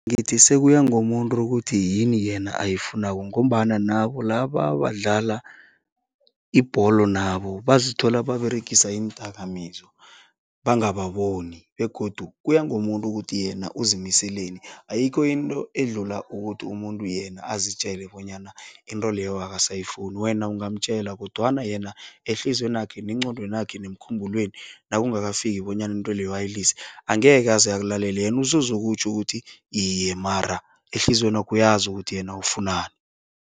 Ngithi sekuya ngomuntu ukuthi yini yena ayifunako ngombana nabo laba abadlala ibholo nabo bazithola baberegisa iindakamizwa, bangababoni begodu kuya ngomuntu ukuthi yena uzimiseleni. Ayikho into edlula ukuthi umuntu yena azitjele bonyana into leyo akasayifuni, wena ungamtjela kodwana yena ehliziywenakhe, nengqondwenakhe nemkhumbulweni nakungakafiki bonyana into leyo ayilise, angeke aze akulalela yena usuzokutjho ukuthi iye, mara ehliziywenakhe uyazi ukuthi yena ufunani.